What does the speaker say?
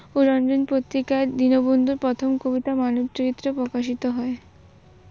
রঞ্জন পত্রিকায় দীনবন্ধুর প্রথম কবিতা মানব চরিত্র প্রকাশিত হয়।